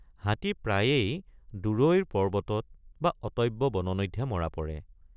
হাতী প্ৰায়েই দূৰৈৰ পৰ্বতত বা অটব্য বননিতহে মৰা পৰে।